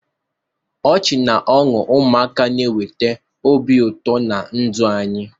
Ọchị na ọṅụ ụmụaka na-eweta obi ụtọ na ndụ anyị.